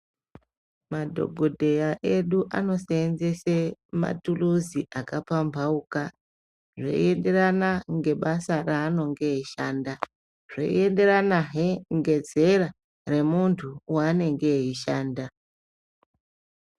Madhokodheya edu anoseenzese matuluzi akapambauka .Zveienderana ngebasa raaninge eishanda .Zvienderana he ngezera remuntu waanenge eishanda.